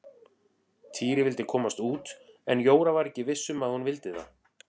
Týri vildi komast út en Jóra var ekki viss um að hún vildi það.